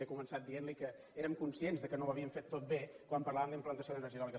he començat dient li que érem conscients que no ho havíem fet tot bé quan parlàvem d’implantació d’energia eòlica